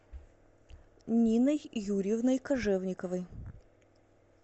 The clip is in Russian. ниной юрьевной кожевниковой